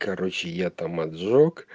короче я там отжёг